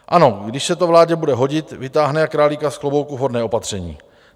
Ano, když se to vládě bude hodit, vytáhne jak králíka z klobouku vhodné opatření.